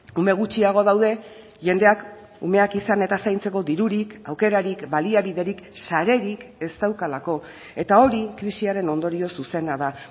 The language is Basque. ume gutxiago daude jendeak umeak izan eta zaintzeko dirurik aukerarik baliabiderik sarerik ez daukalako eta hori krisiaren ondorio zuzena da